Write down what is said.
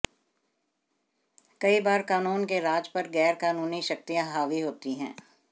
कई बार कानून के राज पर गैर कानूनी शक्तियां हावी होती हैं